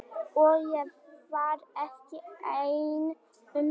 Og ég var ekki ein um það.